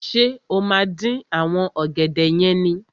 Ṣé o máa dín àwọn ọ̀gẹ̀dẹ̀ yẹn ni?